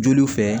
Joliw fɛ